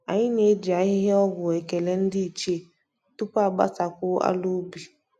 Anyị na-eji ahịhịa ọgwụ ekele ndị ichie tupu a gbasakwuo ala ubi